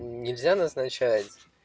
нельзя назначать